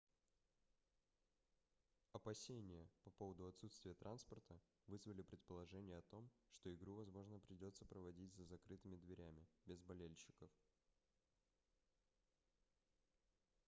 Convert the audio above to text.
опасения по поводу отсутствия транспорта вызвали предположение о том что игру возможно придётся проводить за закрытыми дверями без болельщиков